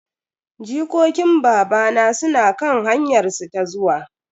Jikokin babana suna kan hanyar su ta zuwa.